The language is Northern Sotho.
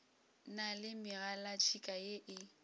na le megalatšhika ye e